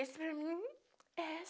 Esse para mim é